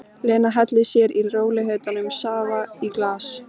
Lena hellir sér í rólegheitum safa í glas.